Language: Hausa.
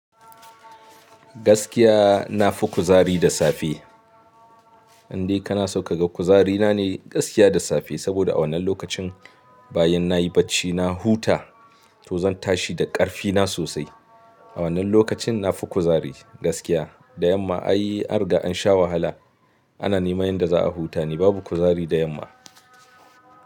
Gaskiya na fi kuzari da safe. Indai kana so ka ga kuzari na ne gaskiya da safe. Saboda a wannan lokacin bayan na yi bacci, na huta to zan tashi da karfi na sosai. A wannan lokacin na fi kuzari gaskiya. Da yamma ai arga an sha wahala. Ana nema yanda za a huta ne babu kuzari da yamma.